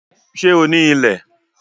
Sé o ní ilẹ̀?